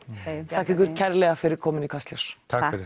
segjum þakka ykkur kærlega fyrir komuna í Kastljós takk fyrir